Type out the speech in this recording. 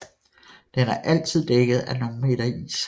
Den er altid dækket af nogle meter is